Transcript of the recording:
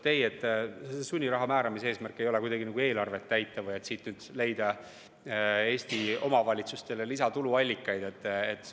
Ei, sunniraha määramise eesmärk ei ole kuidagi nagu eelarvet täita või et leida siit Eesti omavalitsustele lisatuluallikaid.